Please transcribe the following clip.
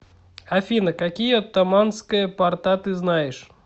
афина какие оттоманская порта ты знаешь